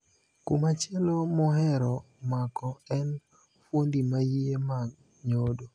Kumachielo mohero mako en Fuondi maiye mag nyodo.